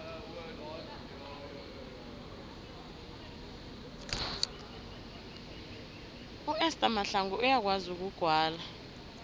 uester mahlangu uyakwazi ukugwala